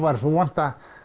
væri svo vont